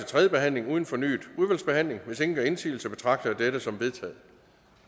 tredje behandling uden fornyet udvalgsbehandling hvis ingen gør indsigelse betragter jeg dette som vedtaget